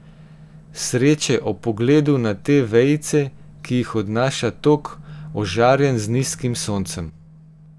Sreče ob pogledu na te vejice, ki jih odnaša tok, ožarjen z nizkim soncem.